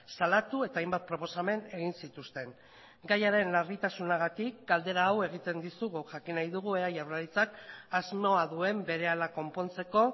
salatu eta hainbat proposamen egin zituzten gaiaren larritasunagatik galdera hau egiten dizugu jakin nahi dugu ea jaurlaritzak asmoa duen berehala konpontzeko